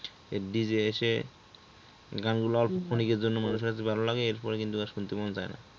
এই যে DJ এসে গান গুলো অল্প ক্ষণিকের জন্য মানুষের কাছে ভালো লাগে এরপর কিন্তু আর শুনতে মন চায় না।